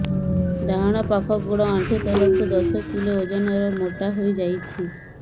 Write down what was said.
ଡାହାଣ ପାଖ ଗୋଡ଼ ଆଣ୍ଠୁ ତଳକୁ ଦଶ କିଲ ଓଜନ ର ମୋଟା ହେଇଯାଇଛି